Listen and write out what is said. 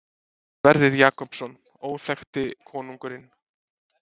Sverrir Jakobsson, Óþekkti konungurinn.